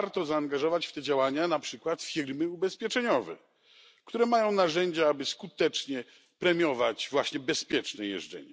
Warto zaangażować w te działania na przykład firmy ubezpieczeniowe, które mają narzędzia, aby skutecznie premiować bezpieczną jazdę.